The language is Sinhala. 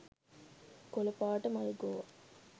කොලපාට මල්ගෝවා .